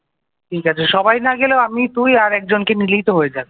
ঠিক আছে সবাই না গেলেও আমি তুই আর একজনকে নিলেই তো হয়ে যাবে।